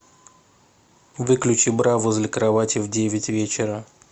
выключи бра возле кровати в девять вечера